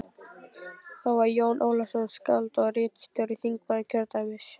Það var Jón Ólafsson, skáld og ritstjóri, þingmaður kjördæmisins.